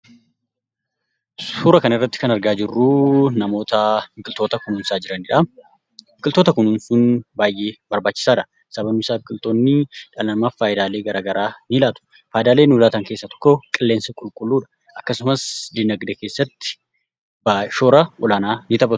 Suura kanarratti kan argaa jirru namoota biqiltoota kunuunsaa jiranidha. Biqiltoota kunuumsuun baay'ee barbaachisaadha. Sababni isaas biqiltoonni dhala namaaf faayidaalee gara garaa ni laatu. Faayidaalee nuuf laatan keessaa tokko qilleensa qulqulĺuudha. Akkasumas donagdee keessatti short ni taphatu.